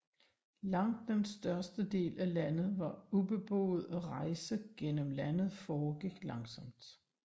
Langt den største del af landet var ubeboet og rejse gennem landet foregik langsomt